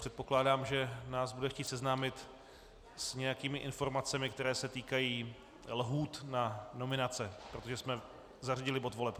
Předpokládám, že nás bude chtít seznámit s nějakými informacemi, které se týkají lhůt na nominace, protože jsme zařadili bod voleb.